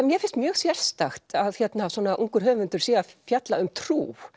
mér finnst mjög sérstakt að svona ungur höfundur sé að fjalla um trú